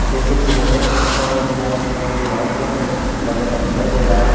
जैसे कि मैं देख सकता हूँ यहाँ कोई माइक्रोसॉफ्ट वगैरह दिखाई दे रहा हैं।